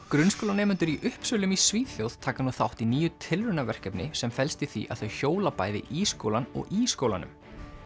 grunnskólanemendur í Uppsölum í Svíþjóð taka nú þátt í nýju tilraunaverkefni sem felst í því að þau hjóla bæði í skólann og í skólanum